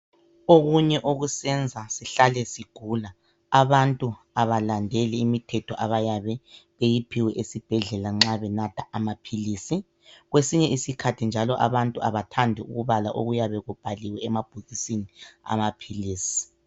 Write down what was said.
Okunye okusenza sihlale sigula, abantu abalandeli imithetho abayabe beyiphiwe esibhedlela nxa benatha amaphilisi kwesinye isikhathi njalo abantu abathandi ukubala okuyabe kubhaliwe emabhokisini amaphilisi.